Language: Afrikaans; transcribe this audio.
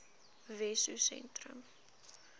wessosentrum